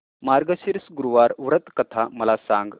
मार्गशीर्ष गुरुवार व्रत कथा मला सांग